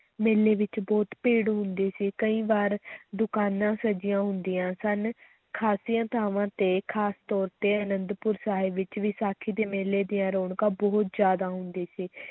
ਮੇਲੇ ਵਿੱਚ ਬਹੁਤ ਭੀੜ ਹੁੰਦੀ ਸੀ, ਕਈ ਵਾਰ ਦੁਕਾਨਾਂ ਸਜੀਆਂ ਹੁੰਦੀਆਂ ਸਨ, ਖ਼ਾਸੀਆਂ ਥਾਵਾਂ ਤੇ ਖ਼ਾਸ ਤੌਰ ਤੇ ਅਨੰਦਪੁਰ ਸਾਹਿਬ ਵਿੱਚ ਵਿਸਾਖੀ ਦੇ ਮੇਲੇ ਦੀਆਂ ਰੌਣਕਾਂ ਬਹੁਤ ਜ਼ਿਆਦਾ ਹੁੰਦੀ ਸੀ,